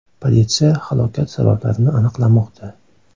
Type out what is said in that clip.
Politsiya halokat sabablarini aniqlamoqda.